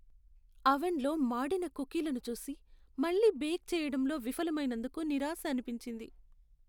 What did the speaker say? అవన్ లో మాడిన కుకీలను చూసి, మళ్ళీ బేక్ చేయడంలో విఫలమైనందుకు నిరాశ అనిపించింది.